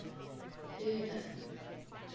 hoover